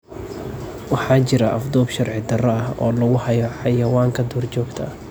Waxaa jira afduub sharci darro ah oo lagu hayo xayawaanka duurjoogta ah.